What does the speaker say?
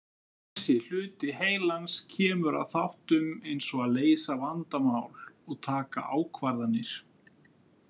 Þessi hluti heilans kemur að þáttum eins og að leysa vandamál og taka ákvarðanir.